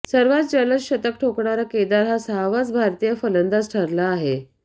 सर्वात जलद शतक ठोकणारा केदार हा सहावाच भारतीय फलंदाज ठरला आहे